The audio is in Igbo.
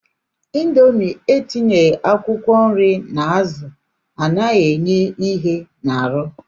Indomie etinyeghi akwụkwọ nri na azụ anaghị enye ihe n'arụ